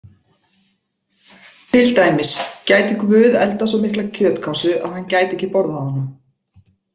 Til dæmis: Gæti Guð eldað svo mikla kjötkássu að hann gæti ekki borðað hana?